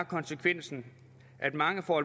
konsekvensen at mange får